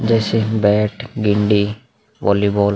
जैसे बैट गेंदे वॉलीबॉल --